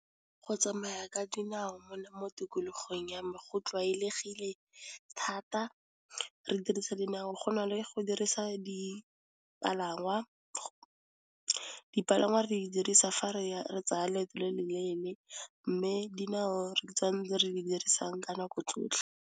Go tsamaya ka dinao mona mo tikologong ya me go tlwaelegile thata. Re dirisa dinao go na le go dirisa dipalangwa, dipalangwa re dirisa fa re tsaya leeto le le leele, mme dinao re di dirisang ka nako tsotlhe.